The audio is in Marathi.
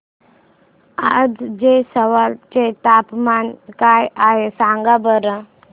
आज ऐझवाल चे तापमान काय आहे सांगा बरं